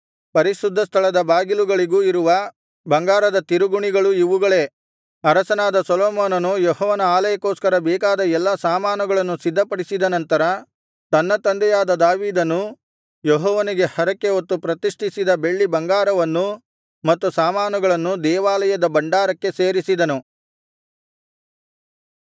ಪರಿಶುದ್ಧಸ್ಥಳದ ಬಾಗಿಲುಗಳಿಗೂ ಇರುವ ಬಂಗಾರದ ತಿರುಗುಣಿಗಳು ಇವುಗಳೇ ಅರಸನಾದ ಸೊಲೊಮೋನನು ಯೆಹೋವನ ಆಲಯಕ್ಕೋಸ್ಕರ ಬೇಕಾದ ಎಲ್ಲಾ ಸಾಮಾನುಗಳನ್ನು ಸಿದ್ಧಪಡಿಸಿದ ನಂತರ ತನ್ನ ತಂದೆಯಾದ ದಾವೀದನು ಯೆಹೋವನಿಗೆ ಹರಕೆಹೊತ್ತು ಪ್ರತಿಷ್ಠಿಸಿದ ಬೆಳ್ಳಿ ಬಂಗಾರವನ್ನೂ ಮತ್ತು ಸಾಮಾನುಗಳನ್ನೂ ದೇವಾಲಯದ ಭಂಡಾರಕ್ಕೆ ಸೇರಿಸಿದನು